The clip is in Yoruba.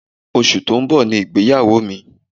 Oṣù tó ń bọ̀ ni ìgbéyàwó mi